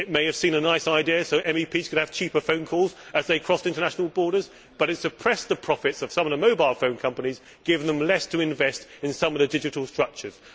It may have seemed a nice idea, so that MEPs could have cheaper phone calls as they crossed international borders, but it has suppressed the profits of some of the mobile phone companies giving them less to invest in some of their digital structures.